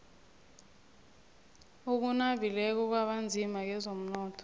okunabileko kwabanzima kezomnotho